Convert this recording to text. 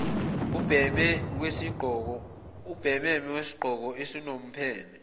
ubhememe wesigqoko esinompheme